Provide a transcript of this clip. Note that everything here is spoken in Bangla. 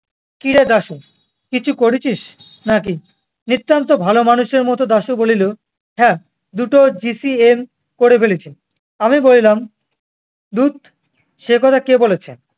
কিরে দাশু? কিছু করেছিস না-কি? নিত্তান্ত ভালো মানুষের মতো দাশু বলিল, হ্যাঁ দুটো GCM করে ফেলেছি। আমি বলিলাম, ধুৎ সে কথা কে বলেছে